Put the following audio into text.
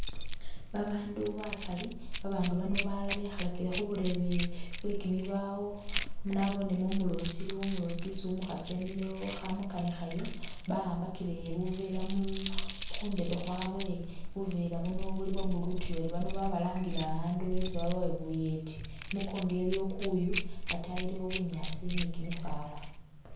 Babandu bakali, babandu bano balala bekhalakile khuburebe bwekimibawo anabonemo umulosi iliwo umulosi isi umukhasi emilewo khamukanikhayo bawambakile bunvela mu mu khundebe khwabwe bunvela buno buli bwa'blue utuyori bano babalangile abundu betse babawe buyeti i'munkongo iliyo kuyu ataayi iliwo bunyaasi ni kimisaala